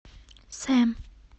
сэм